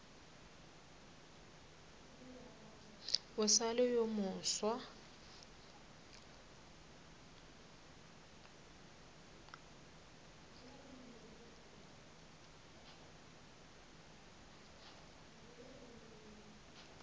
o sa le yo mofsa